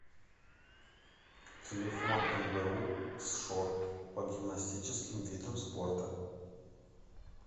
телефон мбу сшор по гимнастическим видам спорта